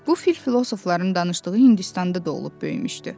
Bu fil filosofların danışdığı Hindistanda doğulub böyümüşdü.